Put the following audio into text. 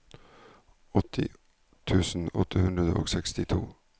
åtti tusen åtte hundre og sekstito